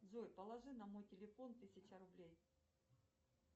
джой положи на мой телефон тысяча рублей